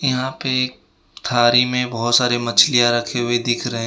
यहां पे एक थारी में बहुत सारी मछलियां रखी हुई दिख रहे --